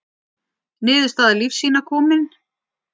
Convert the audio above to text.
Niðurstaða lífsýna komin